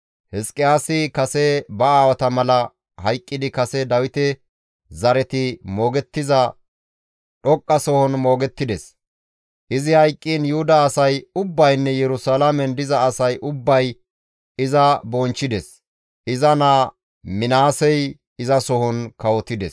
Hizqiyaasi kase ba aawata mala hayqqidi kase Dawite zareti moogettiza dhoqqasohon moogettides; izi hayqqiin Yuhuda asay ubbaynne Yerusalaamen diza asay ubbay iza bonchchides; iza naa Minaasey izasohon kawotides.